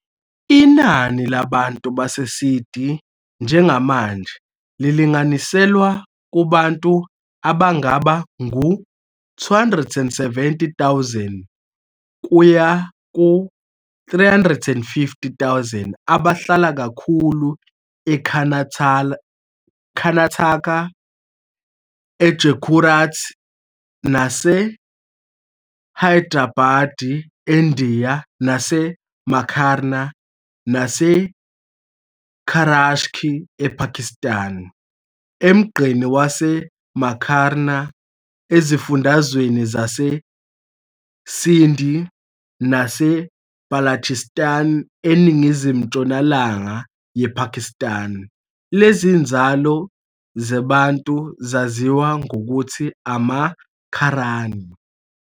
Inani labantu baseSiddi njengamanje lilinganiselwa kubantu abangaba ngu-270,000-350,000, abahlala kakhulu eKarnataka, eGujarat, naseHyderabad eNdiya naseMakran naseKarachi ePakistan. Emgqeni waseMakran ezifundazweni zaseSindh naseBalochistan eningizimu-ntshonalanga yePakistan, lezi nzalo zeBantu zaziwa ngokuthi amaMakrani.